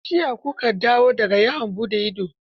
Jiya ku ka dawo da ga yawon buɗe idon?